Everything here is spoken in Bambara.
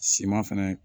Siman fɛnɛ